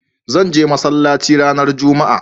Zan je masallaci ranar jumma'a